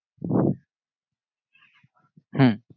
হম